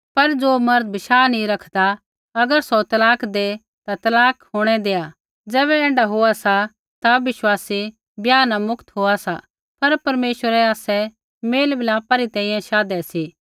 पर ज़ो मर्द बशाह नी रखदा अगर सौ तलाक दै ता तलाक होंणै देआ ज़ैबै ऐण्ढै होआ सा ता विश्वासी ब्याह न मुक्त होआ सा पर परमेश्वरै आसै मेलमिलापा री तैंईंयैं शाधै सी